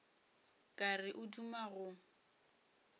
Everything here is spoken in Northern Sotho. ka re o duma go